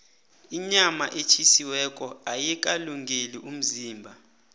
inyama etjhisiweko ayikalungeli umzimba